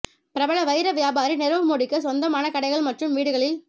பிரபல வைர வியாபாரி நிரவ் மோடிக்கு சொந்தமான கடைகள் மற்றும் வீடுகளில்